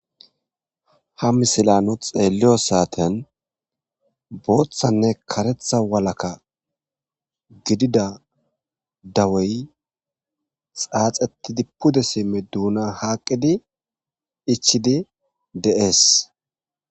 ha misila nu xeelliyo saaten booththanne karetha walakka gidida dawey xaaxetidi pude simmi duuna haaqqidi ichidi de7ees